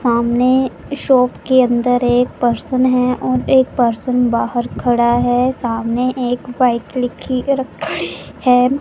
सामने शॉप के अंदर एक पर्सन है और एक पर्सन बाहर खड़ा है सामने एक बाइक लिखी खड़ी है।